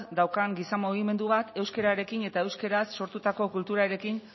daukan giza mugimendu bat euskerarekin eta euskeraz sortutako kulturarekin